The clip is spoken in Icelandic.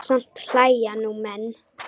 Samt hlæja nú menn.